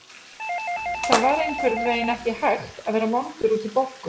Það var einhvern veginn ekki hægt að vera vondur út í Boggu.